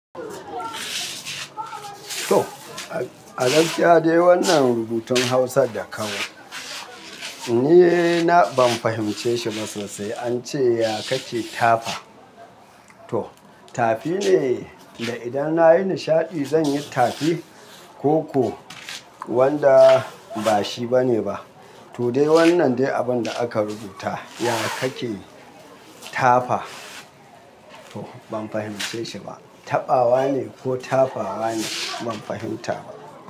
To, a gaskiya dai wannan rubutun Hausar da aka yi, ni ban fahimce shi ba sosai. An ce ya ka ke tafa? To, tafi ne, da idan na yi nishaɗi zan yi tafi, ko kuwa wanda ba shi ba ne ba. To dai wannan dai abin da aka rubuta, ya ka ke tafa? To ban fahimce shi ba. Tabawa ne ko tafawa ne? Ban fahimta ba.